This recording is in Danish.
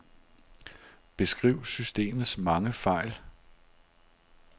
Beskriv systemets mange fejl.